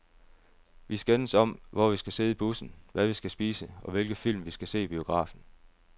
Vi skændes om, hvor vi skal sidde i bussen, hvad vi skal spise, og hvilke film vi skal se i biografen.